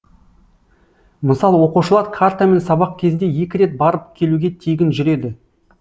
мысалы оқушылар картамен сабақ кезінде екі рет барып келуге тегін жүреді